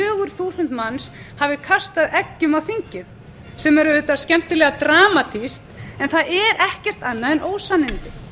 fjögur þúsund manns hafi kastað eggjum á þingið sem er auðvitað skemmtilega dramatískt en það er er ekkert annað en ósannindi